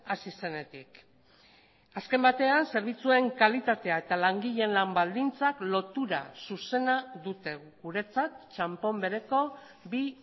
hasi zenetik azken batean zerbitzuen kalitatea eta langileen lan baldintzak lotura zuzena dute guretzat txanpon bereko bi